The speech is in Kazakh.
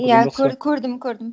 иә көрдім көрдім